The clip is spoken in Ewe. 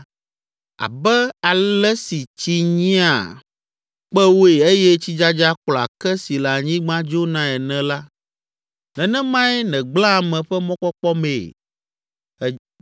abe ale si tsi nyia kpewoe eye tsidzadza kplɔa ke si le anyigba dzonae ene la, nenemae nègblẽa ame ƒe mɔkpɔkpɔ mee.